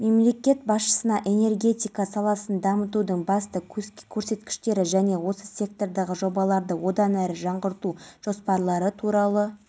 сол бойынша жамалиев бопсалаған ақша мен көліктердің құны азайып шыға келіпті сөйтіп бизнесменге тағылған аса ірі